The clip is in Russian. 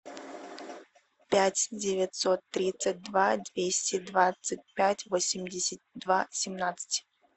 пять девятьсот тридцать два двести двадцать пять восемьдесят два семнадцать